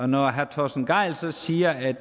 når herre torsten gejl så siger